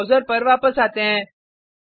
अब ब्राउज़र पर वापस आते हैं